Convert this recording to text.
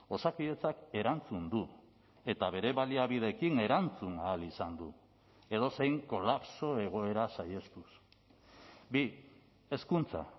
osakidetzak erantzun du eta bere baliabideekin erantzun ahal izan du edozein kolapso egoera saihestuz bi hezkuntza